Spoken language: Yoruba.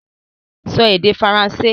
Sọ èdè Faransé!